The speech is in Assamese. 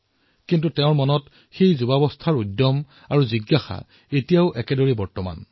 কিন্তু মনৰ জিজ্ঞাসা আৰু আত্মবিশ্বাস এতিয়াও তেওঁৰ যুৱকালৰ দৰে বিদ্যমান আছে